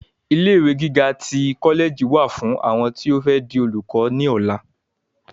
Ilé ìwé gíga tí kọlẹẹjì wà fún àwọn tí o fẹ di olùkọ ni ọlá.